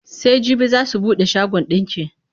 Sai jibi za su buɗe shagon ɗinki.